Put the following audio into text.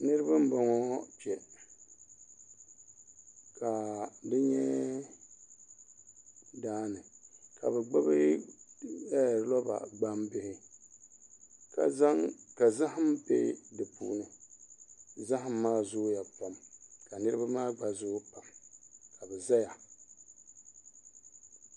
Niraba n bɔŋɔ kpɔ ka di nyɛ daani ka bi gbubi loba gbambihi ka zaham bɛ di puuni zaham maa zooya pam ka niraba maa gba zooi pam ka bi ʒɛya